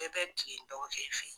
Bɛɛ bɛ kilen dɔgɔkɛ fɛ ye.